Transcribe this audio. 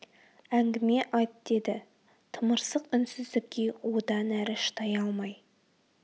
әңгіме айт деді тымырсық үнсіздікке одан әрі шыдай алмай